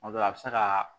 Tuma dɔ la a bɛ se ka